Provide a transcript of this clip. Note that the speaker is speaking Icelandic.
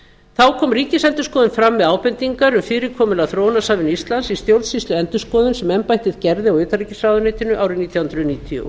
þá kom ríkisendurskoðun fram með ábendingar um fyrirkomulag þróunarsamvinnu íslands í stjórnsýsluendurskoðun sem embættið gerði á utanríkisráðuneytinu árið nítján hundruð níutíu og